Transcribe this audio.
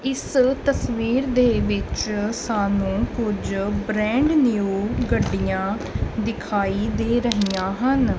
ਇਸ ਤਸਵੀਰ ਵਿੱਚ ਸਾਨੂੰ ਕੁਝ ਬ੍ਰਾਂਡ ਨਿਊ ਗੱਡੀਆਂ ਦਿਖਾਈ ਦੇ ਰਹੀਆਂ ਹਨ।